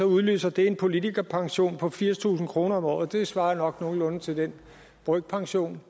udløser det en politikerpension på firstusind kroner om året det svarer nok nogenlunde til den brøkpension